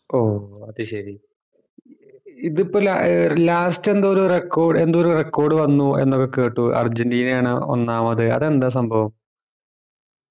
ഓഹ് അത് ശേരി ഇതിപ്പോ ലാ last എന്തോ ഒരു record എന്തോ record വന്നു എന്നൊക്കെ കേട്ട് അർജന്റീന ആണ് ഒന്നാമത് എത്തേണ്ട സംഭവം